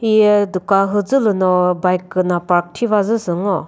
hi dukan mhüzü lü no bike küna park thiva zü sü ngo.